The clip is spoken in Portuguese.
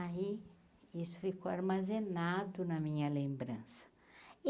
Aí, isso ficou armazenado na minha lembrança.